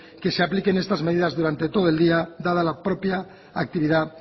que se apliquen estas medidas durante todo el día dada la propia actividad